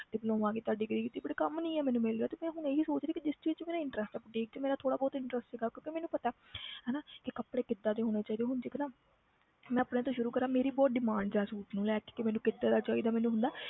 Diploma ਕੀਤਾ degree ਕੀਤੀ but ਕੰਮ ਨੀ ਮੈਨੂੰ ਮਿਲ ਰਿਹਾ ਤੇ ਮੈਂ ਹੁਣ ਇਹ ਹੀ ਸੋਚ ਰਹੀ ਕਿ ਜਿਸ ਚੀਜ਼ 'ਚ ਮੇਰਾ interest ਆ boutique 'ਚ ਮੇਰਾ ਥੋੜ੍ਹਾ ਬਹੁਤ interest ਸੀਗਾ ਕਿਉਂਕਿ ਮੈਨੂੰ ਪਤਾ ਹੈ ਹਨਾ ਕਿ ਕੱਪੜੇ ਕਿੱਦਾਂ ਦੇ ਹੋਣੇ ਚਾਹੀਦੇ ਆ ਹੁਣ ਦੇਖ ਨਾ ਮੈਂ ਆਪਣੇ ਤੋਂ ਸ਼ੁਰੂ ਕਰਾਂ ਮੇਰੀ ਬਹੁਤ demand ਆ suit ਨੂੰ ਲੈ ਕੇ ਕਿ ਮੈਨੂੰ ਕਿੱਦਾਂ ਦਾ ਚਾਹੀਦਾ, ਮੈਨੂੰ ਹੁੰਦਾ ਹੈ